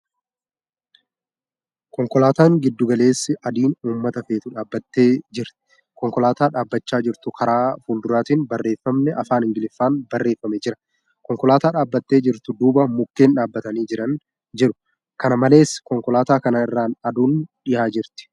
Konkolaataa giddu galeessi adiin uummata feetu dhaabbattee jirti. Konkolaataa dhaabbachaa jirtu Karaa fuulduraatiin barreeffamni Afaan Ingiliffaan barreeffamee jira. Konkolaataa dhaabbattee jirtu duuba mukkeen dhaabbatanii jiean jiru. Kana malees, konkolaataa kana irraan aduun dhiyaa jirti.